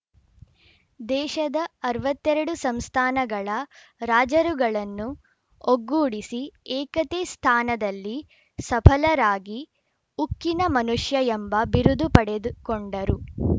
ದೇಶದ ಅರವತ್ತ್ ಎರಡು ಸಂಸ್ಥಾನಗಳ ರಾಜರುಗಳನ್ನು ಒಗ್ಗೂಡಿಸಿ ಏಕತೆ ಸ್ಥಾನದಲ್ಲಿ ಸಫಲರಾಗಿ ಉಕ್ಕಿನ ಮನುಷ್ಯ ಎಂಬ ಬಿರುದು ಪಡೆದುಕೊಂಡರು